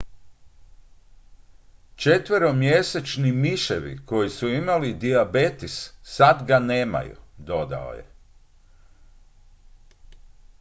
"""četveromjesečni miševi koji su imali dijabetes sad ga nemaju," dodao je.